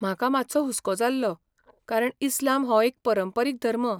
म्हाका मातसो हुसको जाल्लो, कारण इस्लाम हो एक परंपरीक धर्म.